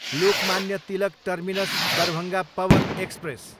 Lokmanya Tilak terminus, Darbhanga Pawan express